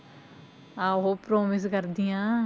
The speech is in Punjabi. ਆਹੋ promise ਕਰਦੀ ਹਾਂ।